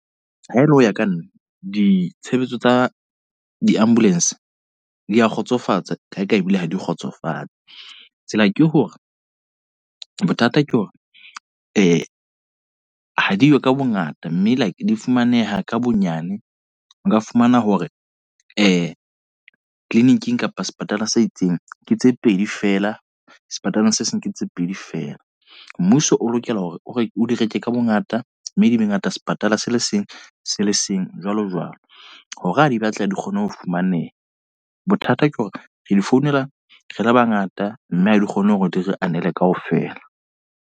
Ha ele hoya ka nna. Ditshebetso tsa di-ambulance di a kgotsofatsa kae kae ebile ha di kgotsofatse. Tsela ke hore, bothata ke hore ha diyo ka bongata. Mme like di fumaneha ka bonyane. Nka fumana hore clinic-ing kapa sepatala se itseng ke tse pedi fela, sepetleleng se seng ke tse pedi fela. Mmuso o lokela hore o re o di reka ka bongata. Mme di be ngata sepatala se le seng se le seng, jwalo jwalo. Hore ha di batleha di kgone ho fumaneha. Bothata ke hore re di founela re le bangata. Mme ha di kgone hore di re anele kaofela.